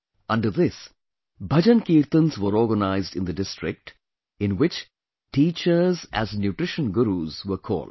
Under this, bhajankirtans were organized in the district, in which teachers as nutrition gurus were called